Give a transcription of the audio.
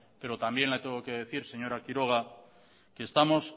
pero también le tengo que decir señora quiroga que estamos